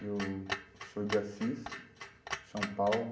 Eu sou de Assis, São Paulo.